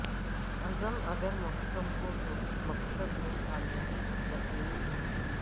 عزم اگر محکم ہو تو مقصد میں کامیابی یقینی ہے